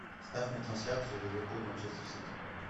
ставь мне трансляцию ливерпуль манчестер сити